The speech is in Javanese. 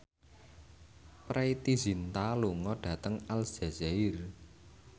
Preity Zinta lunga dhateng Aljazair